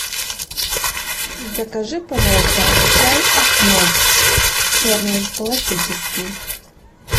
закажи пожалуйста чай ахмад черный классический